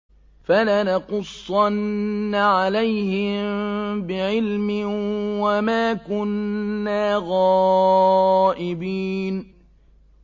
فَلَنَقُصَّنَّ عَلَيْهِم بِعِلْمٍ ۖ وَمَا كُنَّا غَائِبِينَ